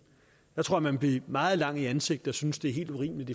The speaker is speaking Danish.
så tror jeg man bliver meget lang i ansigtet og synes det er helt urimeligt